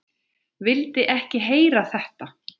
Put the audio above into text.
Vildi ekki heyra þetta!